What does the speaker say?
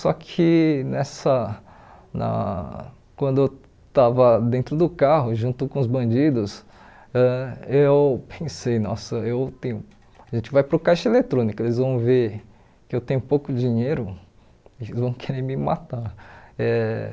Só que nessa na quando eu estava dentro do carro, junto com os bandidos, ãh eu pensei, nossa, eu tenho a gente vai para o caixa eletrônico, eles vão ver que eu tenho pouco dinheiro e vão querer me matar eh.